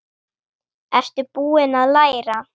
Ertu búinn að læra?